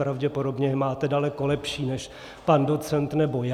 Pravděpodobně je máte daleko lepší než pan docent nebo já.